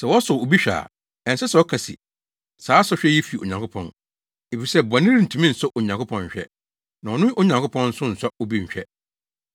Sɛ wɔsɔ obi hwɛ a, ɛnsɛ sɛ ɔka se, “Saa sɔhwɛ yi fi Onyankopɔn.” Efisɛ bɔne rentumi nsɔ Onyankopɔn nhwɛ, na ɔno Onyankopɔn nso nsɔ obi nhwɛ.